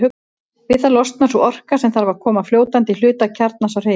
Við það losnar sú orka sem þarf til að koma fljótandi hluta kjarnans á hreyfingu.